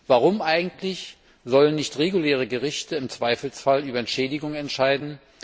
Warum eigentlich sollen nicht reguläre Gerichte im Zweifelsfall über Entschädigungen entscheiden?